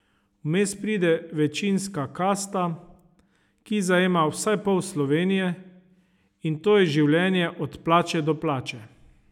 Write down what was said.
Vmes pride večinska kasta, ki zajema vsaj pol Slovenije, in to je življenje od plače do plače.